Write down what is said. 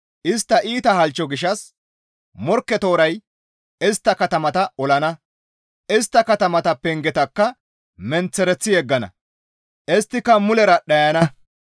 Istta iita halchcho gishshas Morkke tooray istta katamata olana; istta katamata pengetakka menththereththi yeggana. Isttika mulera dhayana.